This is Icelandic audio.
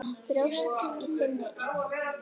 Bjóst í þinni íbúð.